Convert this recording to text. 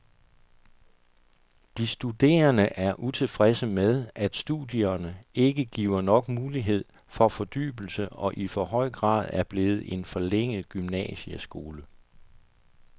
De studerende er utilfredse med, at studierne ikke giver nok mulighed for fordybelse og i for høj grad er blevet en forlænget gymnasieskole.